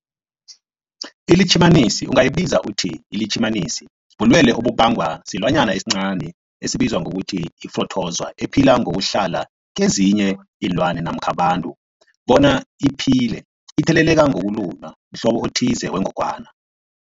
iLitjhimanisi ungayibiza uthiyilitjhimanisi, bulwelwe obubangwa silwanyana esincani esibizwa ngokuthiyi-phrotozowa ephila ngokuhlala kezinye iinlwana, abantu bona iphile itheleleka ngokulunywa mhlobo othize wengogwana.